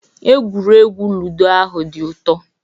Egwuregwu ludo ahu dị ụtọ